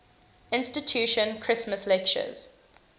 institution christmas lectures